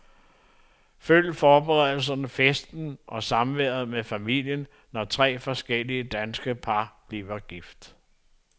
Følg forberedelserne, festen og samværet med familien, når tre forskellige danske par bliver gift.